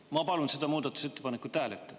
Ma palun seda muudatusettepanekut hääletada.